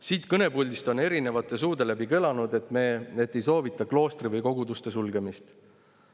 Siit kõnepuldist on erinevate suude läbi kõlanud, et ei soovita kloostri või koguduste sulgemist.